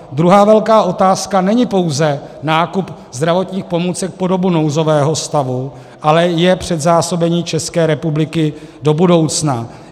Druhá velká otázka není pouze nákup zdravotních pomůcek po dobu nouzového stavu, ale je předzásobení České republiky do budoucna.